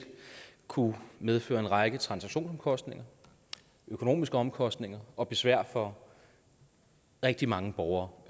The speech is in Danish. kunne medføre en række transaktionsomkostninger økonomiske omkostninger og besvær for rigtig mange borgere